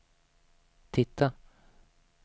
titta